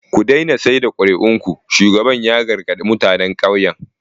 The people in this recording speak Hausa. Ku daina sayar da kuri'un ku, shugaban ya gargaɗi mutanen ƙauyen.